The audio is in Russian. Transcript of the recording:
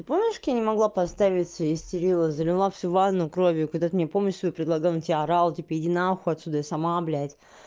ты помнишь как я не могла поставить истерила залила всю ванну кровью когда ты мне помощь свою предлагал я орала типа иди нахуй отсюда я сама блядь